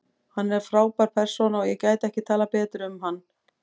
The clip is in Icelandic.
Hann er frábær persóna og ég gæti ekki talað betur um hann.